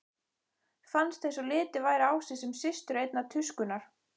Fannst einsog litið væri á sig sem systur einnar tuskunnar.